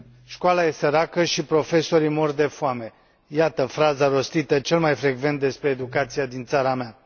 Școala e săracă și profesorii mor de foame, iată fraza rostită cel mai frecvent despre educația din țara mea.